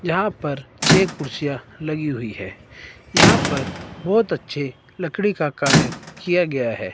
यहां पर छे कुर्सियां लगी हुई है यहां पर बहोत अच्छे लकड़ी का कार्य किया गया है।